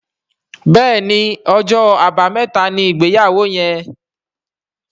Béèni Ọjọ́ Àbàmẹ́ta ní ìgbéyàwó yén.